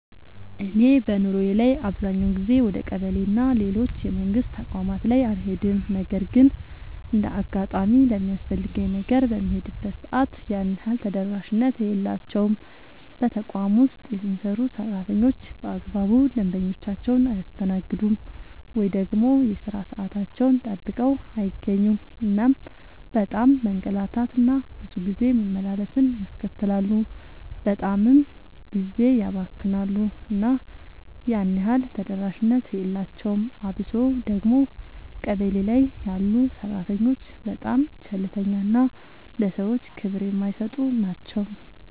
እኔ በኑሮዬ ላይ አብዛኛውን ጊዜ ወደ ቀበሌ እና ሌሎች የመንግስት ተቋማት ላይ አልሄድም ነገር ግን እንደ አጋጣሚ ለሚያስፈልገኝ ነገር በምሄድበት ሰዓት ያን ያህል ተደራሽነት የላቸውም። በተቋም ውስጥ የሚሰሩ ሰራተኞች በአግባቡ ደንበኞቻቸውን አያስተናግዱም። ወይ ደግሞ የሥራ ሰዓታቸውን ጠብቀው አይገኙም እናም በጣም መንገላታት እና ብዙ ጊዜ መመላለስን ያስከትላሉ በጣምም ጊዜ ያባክናሉ እና ያን ያህል ተደራሽነት የላቸውም። አብሶ ደግሞ ቀበሌ ላይ ያሉ ሰራተኞች በጣም ቸልተኛ እና ለሰዎች ክብር የማይሰጡ ናቸው።